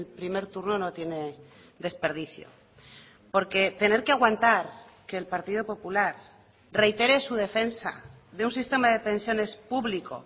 primer turno no tiene desperdicio porque tener que aguantar que el partido popular reitere su defensa de un sistema de pensiones público